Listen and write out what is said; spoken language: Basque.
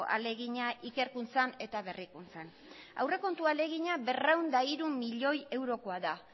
ahalegina ikerkuntzan eta berrikuntzan aurrekontu ahalegina berrehun eta hiru milioi eurokoa da